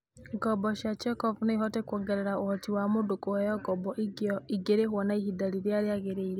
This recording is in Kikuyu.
Ngombo cia check-off no ihote kũongerera ũhoti wa mũndũ kũheo ngombo ingĩrĩhũo na ihinda rĩrĩa rĩagĩrĩire.